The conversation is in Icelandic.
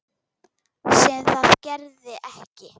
Sem það gerði ekki.